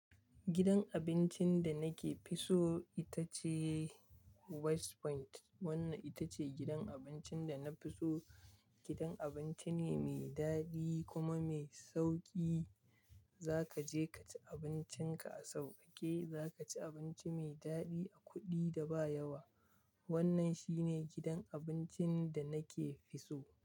Gidan abincin da nake fi so ita ce West Point. Wannan ita ce gidan abincin da na fi so. Gidan abinci ne mai daɗi kuma mai sauƙi. Za ka je ka ci abincinka a sauƙaƙe. Za ka ci abinci mai daɗi a kuɗi da ba yawa. Wannan shi ne gidan abincin da nake fi so.